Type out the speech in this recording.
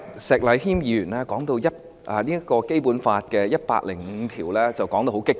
石禮謙議員剛才提到《基本法》第一百零五條時，說得相當激動。